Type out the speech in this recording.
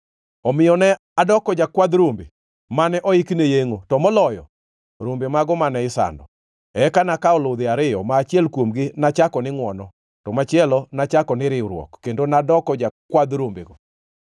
Omiyo, ne adoko jakwadh rombe mane oiki ne yengʼo, to moloyo, rombe mago mane isando. Eka nakawo ludhe ariyo, ma achiel kuomgi nachako ni Ngʼwono, to machielo nachako ni Riwruok, kendo nadoko jakwadh rombego.